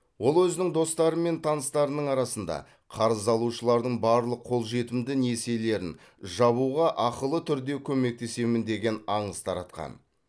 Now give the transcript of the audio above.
ол өзінің достары мен таныстарының арасында қарыз алушылардың барлық қолжетімді несиелерін жабуға ақылы түрде көмектесемін деген аңыз таратқан